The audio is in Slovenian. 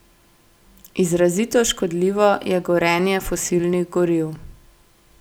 Izrazito škodljivo je gorenje fosilnih goriv.